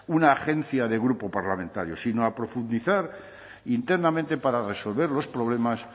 una agencia de grupo parlamentario sino a profundizar internamente para resolver los problemas